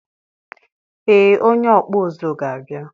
ee onye ọkpụ ụzụ ga-abia